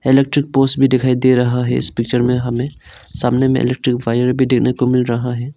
Electric post भी दिखाई दे रहा है इस पिक्चर में हमें सामने में इलेक्ट्रिक वायर भी देने को मिल रहा है।